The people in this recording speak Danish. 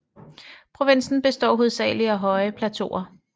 Provinsen består hovedsagelig af høje plateauer